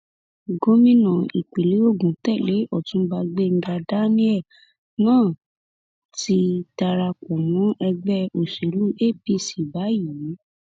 gómìnà ìpínlẹ ogun tẹlẹ ọtúnba gbenga daniel náà ti darapọ mọ ẹgbẹ òṣèlú apc báyìí